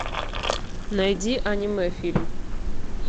найди аниме фильм